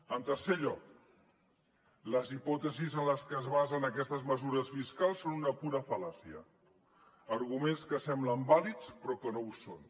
en tercer lloc les hipòtesis en les que es basen aquestes mesures fiscals són una pura fal·làcia arguments que semblen vàlids però que no ho són